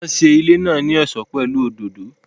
Wọ́n ṣe ilé náà ní ọ̀ṣọ́ pẹ̀lú òdòdó